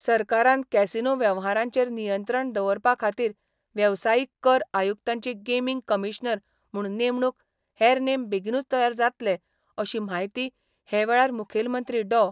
सरकारान कॅसिनो वेवहारांचेर नियंत्रण दवरपा खातीर वेवसायिक कर आयुक्तांची गेमिंग कमिशनर म्हूण नेमणुक हेर नेम बेगिनूच तयार जातले, अशी म्हायती हे वेळार मुखेलमंत्री डॉ.